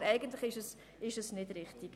Aber eigentlich ist es nicht richtig.